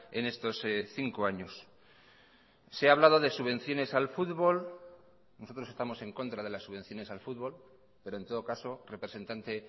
en estos cinco años se ha hablado de subvenciones al fútbol nosotros estamos en contra de las subvenciones al fútbol pero en todo caso representante